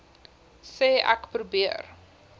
sê ek probeer